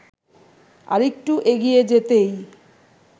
আরেকটু এগিয়ে যেতেই